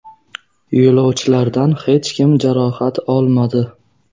Yo‘lovchilardan hech kim jarohat olmadi.